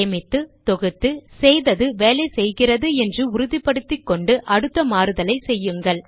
சேமித்து தொகுத்து செய்தது வேலை செய்கிறது என்று உறுதிபடுத்திக்கொண்டு அடுத்த மாறுதலை செய்யுங்கள்